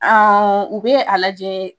Aa u bɛ a lajɛ